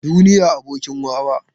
Duniya abokin wawa.